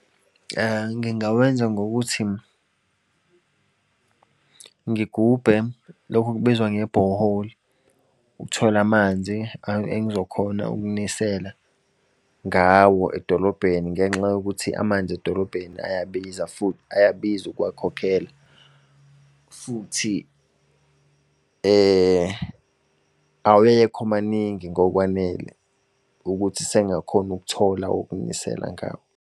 Ngingawenza ngokuthi, ngigubhe lokhu okubizwa nge-borehole. Ukuthola amanzi engizokhona wokunisela ngawo edolobheni, ngenxa yokuthi amanzi edolobheni ayabiza, futhi ayabiza ukuwakhokhela. Futhi awekho maningi ngokwanele ukuthi sengakhona ukuthola wokunisela ngawo.